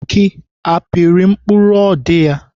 Aki apịrị mkpụrụ ọ dị ya?